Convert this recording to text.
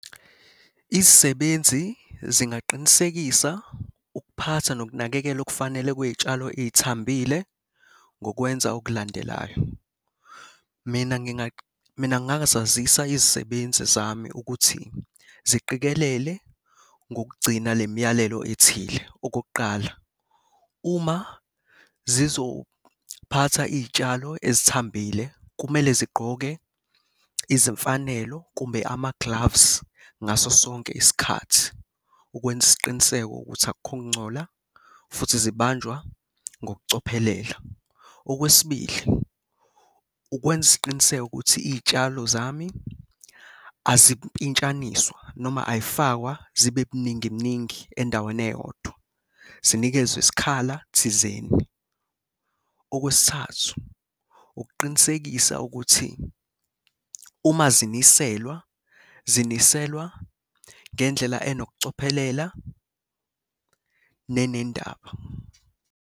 Izisebenzi zingaqinisekisa ukuphatha nokunakekelwa okufanele kwey'tshalo ey'thambile ngokwenza okulandelayo. Mina mina ngingasazisa iy'sebenzi zami ukuthi ziqikelele ngokugcina le myalelo ethile. Okokuqala, uma zizophatha iy'tshalo ezithambile, kumele zigqoke izimfanelo kumbe ama-gloves ngaso sonke isikhathi ukwenza isiqiniseko ukuthi akukho kungcola, futhi ziyabanjwa ngokucophelela. Okwesibili, ukwenza isiqiniseko ukuthi iy'tshalo zami azimpintshaniswa noma ay'fakwa zibe buningi mningi endaweni eyodwa, zinikezwe isikhala thizeni. Okwesithathu, ukuqinisekisa ukuthi uma ziniselwa, ziniselwa ngendlela enokucophelela nenendaba.